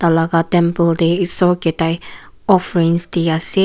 temple teh isor ke tai offerings di ase.